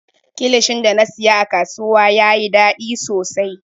Kilishin da na siya a kasuwa yayi daɗi sosai.